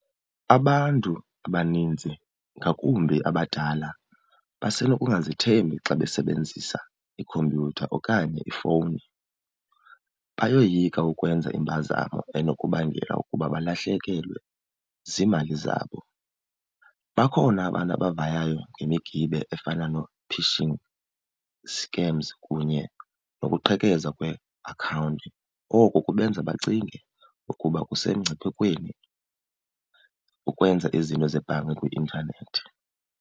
Abantu abaninzi ngakumbi abadala basenokungazithembi xa besebenzisa ikhompyutha okanye ifowuni. Bayoyika ukwenza impazamo enokubangela ukuba balahlekelwe ziimali zabo. Bakhona abantu abavayayo ngemiqibe efana noo-phishing scams kunye nokuqhekeza kweeakhawunti. Oku kubenza bacinge ukuba kusemngciphekweni ukwenza izinto zebhanka kwi-intanethi.